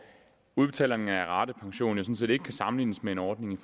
udbetalingen af ratepension jo sådan set ikke kan sammenlignes med en ordning